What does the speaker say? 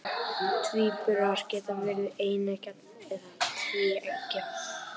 tvíburar geta verið eineggja eða tvíeggja